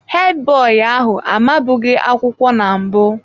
Hedi boyi ahụ amabughị akwụkwọ na mbụ.